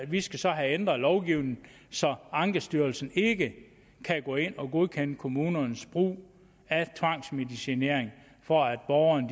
vi skal så have ændret lovgivningen så ankestyrelsen ikke kan gå ind og godkende kommunernes brug af tvangsmedicinering for at borgerne